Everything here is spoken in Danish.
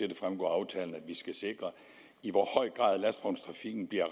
der fremgår af aftalen at vi skal sikre i hvor høj grad lastvognstrafikken bliver